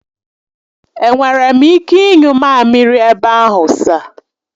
Enwere m ike ịnyu mamiri ebe ahụ sir?